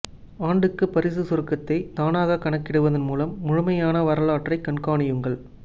ஆண்டுக்கு பரிசு சுருக்கத்தை தானாக கணக்கிடுவதன் மூலம் முழுமையான வரலாற்றைக் கண்காணியுங்கள்